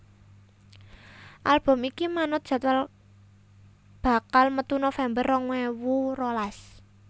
Album iki manut jadwal bakal metu November rong ewu rolas